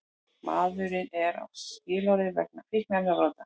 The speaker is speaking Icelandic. Maðurinn er á skilorði vegna fíkniefnabrota